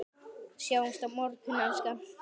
Sjáumst á morgun, elskan.